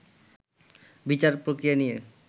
বিচার প্রক্রিয়া নিয়ে